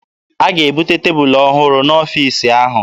A ga-ebute tebụlụ ọhụrụ n'ọfiisi ahụ.